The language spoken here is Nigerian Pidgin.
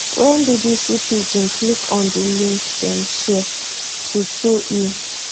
wen bbc pidgin click on di link dem share truetrue e